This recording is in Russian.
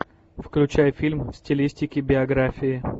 включай фильм в стилистике биографии